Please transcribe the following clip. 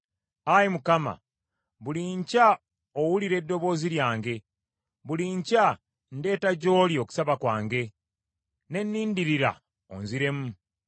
Ayi Mukama , buli nkya owulira eddoboozi lyange; buli nkya ndeeta gy’oli okusaba kwange, ne nnindirira onziremu.